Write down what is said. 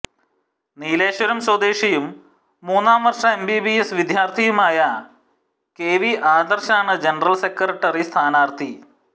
നീലേശ്വരം സ്വദേശിയും മൂന്നാം വർഷ എംബിബിഎസ് വിദ്യാർത്ഥിയുമായ കെ വി ആദർശാണ് ജനറൽ സെക്രട്ടറി സ്ഥാനാർത്ഥി